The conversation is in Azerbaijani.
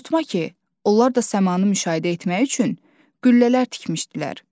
Unutma ki, onlar da səmanı müşahidə etmək üçün qüllələr tikmişdilər.